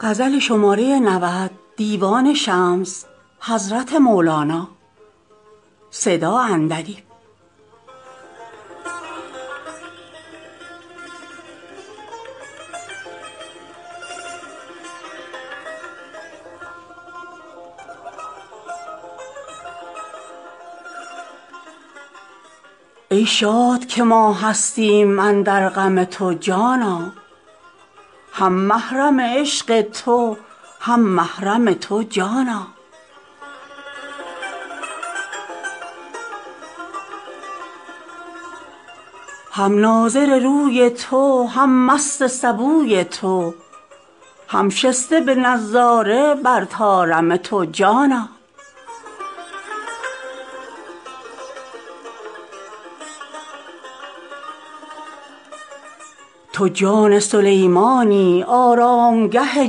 ای شاد که ما هستیم اندر غم تو جانا هم محرم عشق تو هم محرم تو جانا هم ناظر روی تو هم مست سبوی تو هم شسته به نظاره بر طارم تو جانا تو جان سلیمانی آرامگه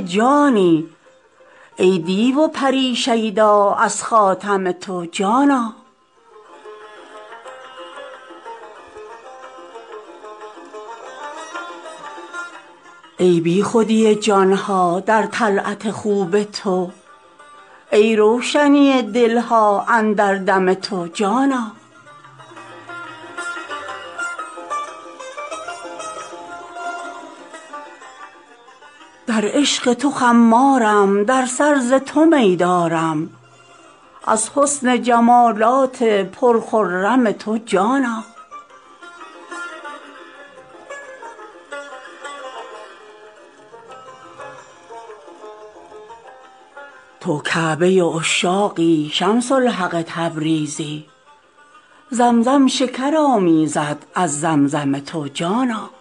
جانی ای دیو و پری شیدا از خاتم تو جانا ای بیخودی جان ها در طلعت خوب تو ای روشنی دل ها اندر دم تو جانا در عشق تو خمارم در سر ز تو می دارم از حسن جمالات پرخرم تو جانا تو کعبه عشاقی شمس الحق تبریزی زمزم شکر آمیزد از زمزم تو جانا